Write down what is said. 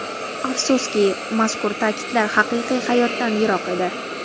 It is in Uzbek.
Afsuski, mazkur ta’kidlar haqiqiy hayotdan yiroq edi.